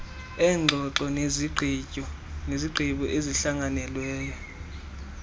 eengxoxo nezigqibo ezihlanganelweyo